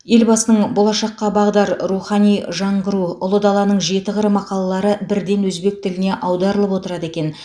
елбасының болашаққа бағдар рухани жаңғыру ұлы даланың жеті қыры мақалалары бірден өзбек тіліне аударылып отырады екен